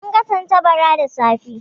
Mun ga tattabara da safe.